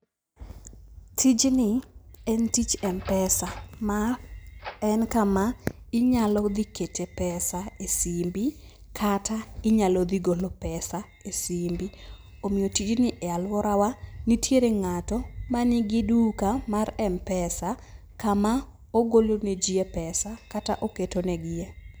Tijni en tich m-pesa. Ma en kama inyalo dhi kete pesa esimbi, kata inyalo dhi gole pesa esimbi. Omiyo tijni e aluorawa, nitiere ng'ato manigi duka mar m-pesa kama ogolo neji e pesa kata oketo negie.